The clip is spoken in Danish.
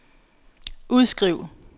udskriv